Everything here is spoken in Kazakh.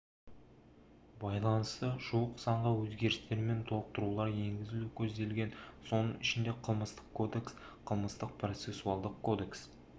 байланысты жуық заңға өзгерістер мен толықтыруылар енгізу көзделген соның ішінде қылмыстық кодекс қылмыстық процессуалдық кодекс